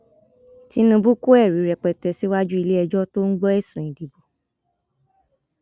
tinúbú kọ ẹrí rẹpẹtẹ síwájú iléẹjọ tó ń gbọ ẹsùn ìdìbò